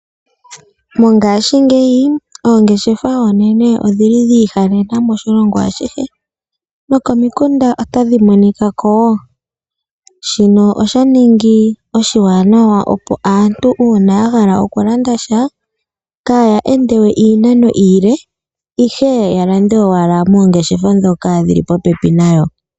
Mongaashingeyi oongeshefa oonene odhili dha andjakana oshilongo ashihe nokomikunda otadhi monikako woo, shino osha ningi oshiwanawa opo aantu uuna yahala oku landasha kaya ende iinano iile ihe yalande owala moongeshefa ndhono dhili popepi nayo.